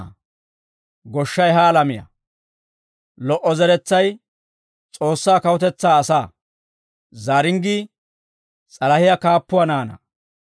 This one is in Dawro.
goshshay ha alamiyaa; lo"o zeretsay S'oossaa kawutetsaa asaa; zaaringgii s'alahiyaa kaappuwaa naanaa.